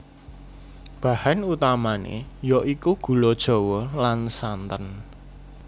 Bahan utamané ya iku gula Jawa lan santen